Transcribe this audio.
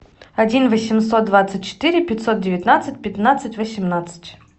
один восемьсот двадцать четыре пятьсот девятнадцать пятнадцать восемнадцать